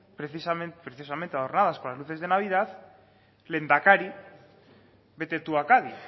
precisamente adornadas con las luces de navidad lehendakari vete tú a cádiz